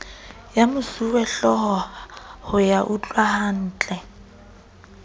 ya mosuwehlooho ho ya utlwahantle